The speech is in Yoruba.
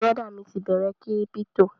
Bùrọ̀dá mi ti bẹ̀rẹ kírípítò